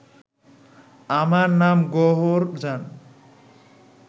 আমার নাম গওহরজান